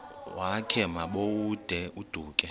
wakhe ma baoduke